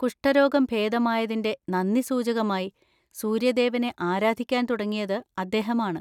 കുഷ്ഠരോഗം ഭേദമായതിന്‍റെ നന്ദിസൂചകമായി സൂര്യദേവനെ ആരാധിക്കാൻ തുടങ്ങിയത് അദ്ദേഹമാണ്.